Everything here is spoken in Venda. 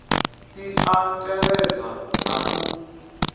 i a tevhedzwa na u